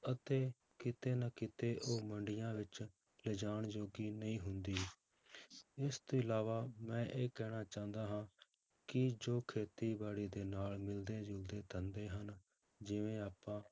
ਅਤੇ ਕਿਤੇ ਨਾ ਕਿਤੇ ਉਹ ਮੰਡੀਆਂ ਵਿੱਚ ਲਿਜਾਣ ਜੋਗੀ ਨਹੀਂ ਹੁੰਦੀ ਇਸ ਤੋਂ ਇਲਾਵਾ ਮੈਂ ਇਹ ਕਹਿਣਾ ਚਾਹੁੰਦਾ ਹਾਂ ਕਿ ਜੋ ਖੇਤੀਬਾੜੀ ਦੇ ਨਾਲ ਮਿਲਦੇ ਜੁਲਦੇ ਧੰਦੇ ਹਨ, ਜਿਵੇਂ ਆਪਾਂ